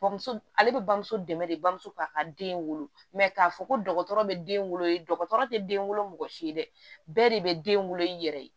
Bamuso ale bɛ bamuso dɛmɛ de bamuso k'a ka den wolo k'a fɔ ko dɔgɔtɔrɔ bɛ den wolo ye dɔgɔtɔrɔ tɛ den wolo mɔgɔ si ye dɛ bɛɛ de bɛ den wolo i yɛrɛ ye